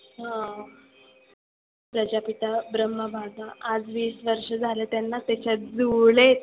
हं प्रजापिता ब्रम्हाबाबा आज विस वर्ष झालेत त्यांना त्याच्या जुळे